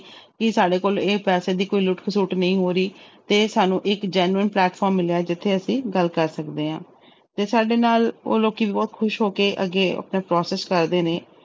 ਕਿ ਸਾਡੇ ਕੋਲ ਇਹ ਪੈਸੇ ਦੀ ਕੋਈ ਲੁੱਟ ਖਸੁੱਟ ਨਹੀਂ ਹੋ ਰਹੀ ਤੇ ਸਾਨੂੰ ਇੱਕ genuine platform ਮਿਲਿਆ ਹੈ ਜਿੱਥੇ ਅਸੀਂ ਗੱਲ ਕਰ ਸਕਦੇ ਹਾਂ, ਤੇ ਸਾਡੇ ਨਾਲ ਉਹ ਲੋਕੀ ਵੀ ਬਹੁਤ ਖ਼ੁਸ਼ ਹੋ ਕੇ ਅੱਗੇ ਆਪਣਾ process ਕਰਦੇ ਨੇ।